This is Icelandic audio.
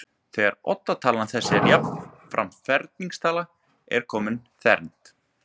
þegar oddatalan þessi er jafnframt ferningstala er komin þrennd